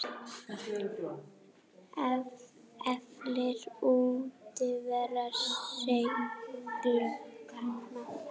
Eflir útivera seiglu barna?